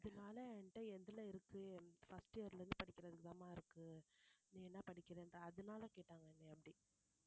அதனால என்கிட்ட எதுல இருக்கு first year ல இருந்து படிக்கிறதுக்குதான்மா இருக்கு நீ என்ன படிக்கிறன்னுட்டு அதனால கேட்டாங்க என்னை அப்படி